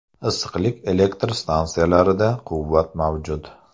Issiqlik elektr stansiyalarida quvvat mavjud.